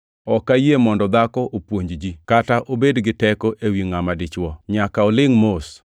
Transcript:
Ok ayie mondo dhako opuonj ji kata obed gi teko ewi ngʼama dichwo; nyaka olingʼ mos,